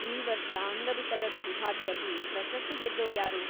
ಈ ವರ್ಷ ಅಂಗವಿಕಲರ ವಿಭಾಗ್ದಲ್ಲಿ ಪ್ರಶಸ್ತಿ ಗೆದ್ದೋರ್ಯಾರು?